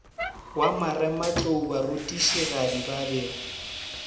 wa marematlou barutišigadi ba be